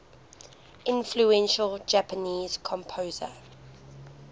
influential japanese composer